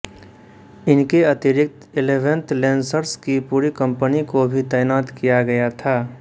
इनके अतिरिक्त eleventh lancers की पूरी कम्पनी को भी तैनात किया गया था